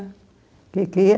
Que quê?